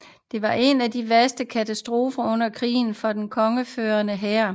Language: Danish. Det var en af de værste katastrofer under krigen for den konfødererede hær